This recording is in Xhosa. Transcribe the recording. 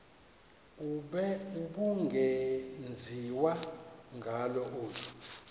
ubungenziwa ngalo olu